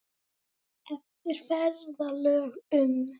Eftir ferðalög um